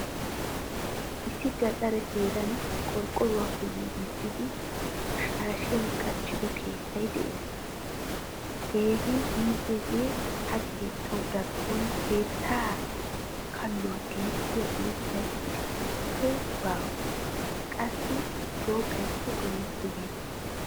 Issi gaxare heeran qorqoruwappe giigisidi shaashiyaa kaqido keettay de'ees. Keehin iitiyage ha keettawu darkkon keettaa kalluwaa gentiyaa uuttay isstta bawua qassi shoqqaykka goyettibena.